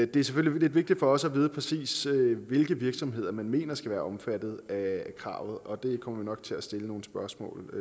det er selvfølgelig lidt vigtigt for os at vide præcis hvilke virksomheder man mener skal være omfattet af kravet og det kommer vi nok til at stille nogle spørgsmål